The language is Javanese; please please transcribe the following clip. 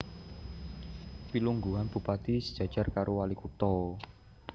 Pilungguhan Bupati sejajar karo Walikutha